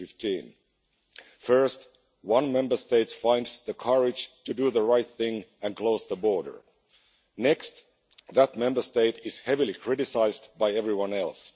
2015. First, one Member State finds the courage to do the right thing and close the border, next that Member State is heavily criticised by everyone else.